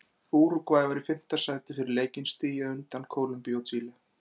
Úrúgvæ var í fimmta sæti fyrir leikinn, stigi á undan Kólumbíu og Chile.